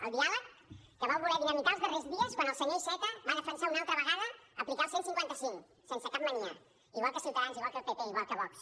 el diàleg que vau voler dinamitar els darrers dies quan el senyor iceta va defensar una altra vegada aplicar el cent i cinquanta cinc sense cap mania igual que ciutadans igual que el pp igual que vox